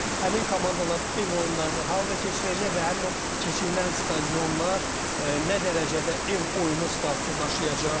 Həmin komandalar ev oyunlarını harda keçirəcək və həmin o keçirilən stadionlar nə dərəcədə ev oyunu statusu daşıyacaq?